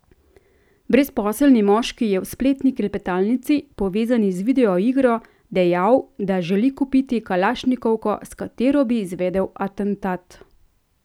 Brezposelni moški je v spletni klepetalnici, povezani z video igro, dejal, da želi kupiti kalašnikovko, s katero bi izvedel atentat.